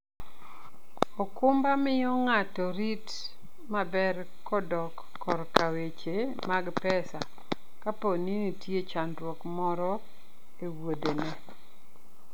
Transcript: okumba miyo ng'ato rit maber kodok korka weche mag pesa kapo ni nitie chandruok moro e wuodheno.